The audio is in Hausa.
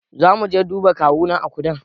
Zamu je duba kawuna a kudan